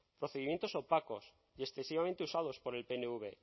procedimientos opacos y excesivamente usados por el pnv